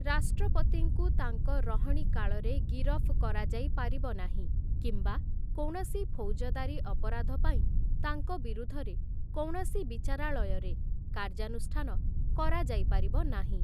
ରାଷ୍ଟ୍ରପତିଙ୍କୁ ତାଙ୍କ ରହଣିକାଳରେ ଗିରଫ୍ କରାଯାଇ ପାରିବ ନାହିଁ କିମ୍ବା କୌଣସି ଫୌଜଦାରୀ ଅପରାଧ ପାଇଁ ତାଙ୍କ ବିରୁଦ୍ଧରେ କୌଣସି ବିଚାରାଳୟରେ କାର୍ଯ୍ୟାନୁଷ୍ଠାନ କରାଯାଇପାରିବ ନାହିଁ ।